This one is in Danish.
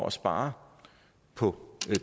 at spare på